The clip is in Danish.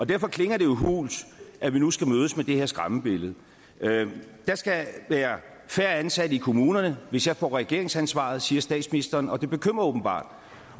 derfor klinger det jo hult at vi nu skal mødes af det her skræmmebillede der skal være færre ansatte i kommunerne hvis jeg får regeringsansvaret siger statsministeren og det bekymrer åbenbart